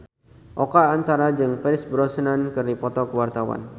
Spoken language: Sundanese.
Oka Antara jeung Pierce Brosnan keur dipoto ku wartawan